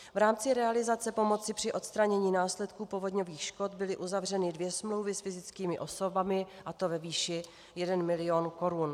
V rámci realizace pomoci při odstranění následků povodňových škod byly uzavřeny dvě smlouvy s fyzickými osobami, a to ve výši 1 mil. korun.